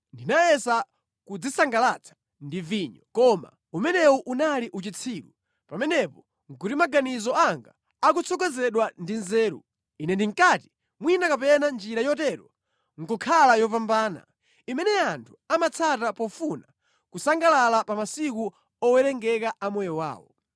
Ndinayesa kudzisangalatsa ndi vinyo, koma umenewu unali uchitsiru, pamenepo nʼkuti maganizo anga akutsogozedwa ndi nzeru. Ine ndinkati mwina kapena njira yotero nʼkukhala yopambana, imene anthu amatsata pofuna kusangalala pa masiku owerengeka a moyo wawo.